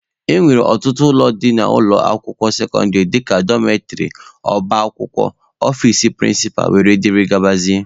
E nwere ọtụtụ ụlọ dị n'ụlọ akwụkwọ sekọndịrị dika Dọmetrị, ọba akwụkwọ, ọfici prịncịpa wdg.